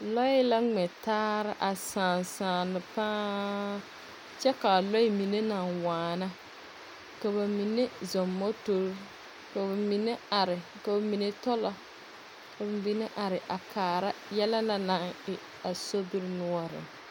Lɔɛ la ŋmɛ tare a sãã sããne pãã kyɛ ka a lɔɛ mine naŋ waana ka ba mine zɔŋ motori, ka ba mine are. Ka ba mine tɔlɔ ka ba mine are a kaara yɛlɛ na naŋ e a sobiri noɔreŋ.